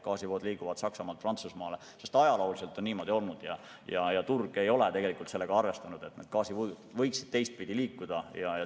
Gaasivood liiguvad Saksamaalt Prantsusmaale, sest ajalooliselt on niimoodi olnud ja turg ei ole sellega arvestanud, et need gaasivood võiksid teistpidi liikuda.